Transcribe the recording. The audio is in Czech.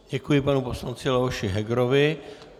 Děkuji panu poslanci Leoši Hegerovi.